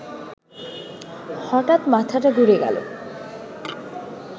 হঠাৎ মাথাটা ঘুরে গেল